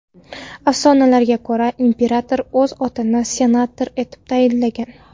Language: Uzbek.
Afsonalarga ko‘ra, imperator o‘z otini senator etib tayinlagan.